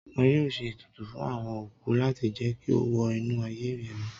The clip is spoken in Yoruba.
wọn yóò ṣe etùtù fún awọn okú lati jẹ ki o wọ inu aye ẹmí